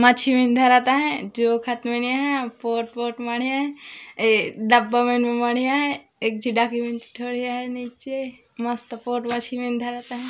मछविन धरत हे जो खत मेन आ हे पोठ पोठ माड़हे हे आ डब्बा मन में मांढे आहे एक झी डाकी मेंत नीचे मस्त पोठ मछरी मन धरत आ हे।